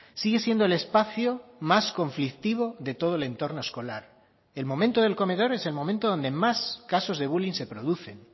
sigue siendo el espacio más conflictivo de todo el entorno escolar el momento del comedor es el momento donde más casos de bulling se producen